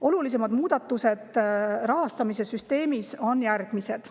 Olulisimad muudatused rahastamissüsteemis on järgmised.